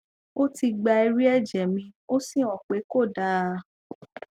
ó ti gba ẹrí ẹjẹ mi ó sì hàn pé kò dáa